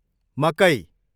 मकै